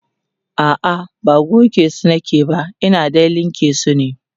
a'a ba gogesu nake ba Ina dai linka su ne